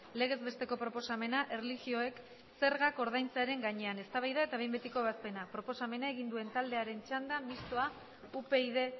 legez besteko proposamena erlijioek zergak ordaintzearen gainean eztabaida eta behin betiko ebazpena proposamena egin duen taldearen txanda mistoa upyd